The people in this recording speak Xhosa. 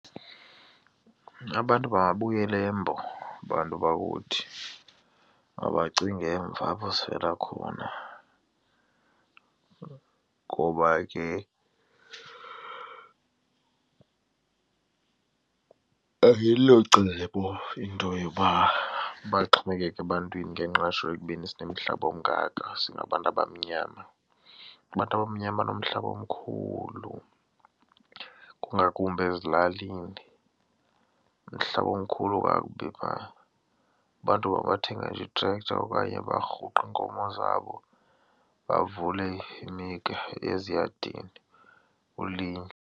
Abantu mababuyele eMbo bantu bakuthi, mabacinga emva apho sivela khona ngoba ke ayilocebo into yoba baxhomekeke ebantwini ngengqesho ekubeni sinomihlaba ongaka singabantu abamnyama. Abantu abamnyama banomhlaba omkhulu kungakumbi ezilalini, umhlaba umkhulu kakubi phaa. Abantu mabathenge nje itrektha okanye barhuqe iinkomo zabo bavule eziyadini kulinywe.